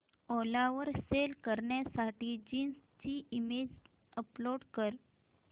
ओला वर सेल करण्यासाठी जीन्स ची इमेज अपलोड कर